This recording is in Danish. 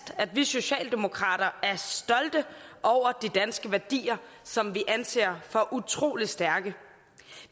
at vi socialdemokrater er stolte af de danske værdier som vi anser for utrolig stærke